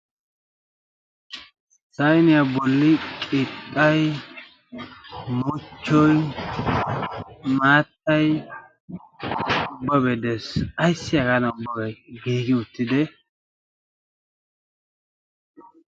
sayniyaa bolli qixxay mucchoi maattay ubbabee des ayssi hagaana ubbaba giigi uttiis.